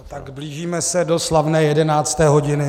Tak blížíme se do slavné jedenácté hodiny.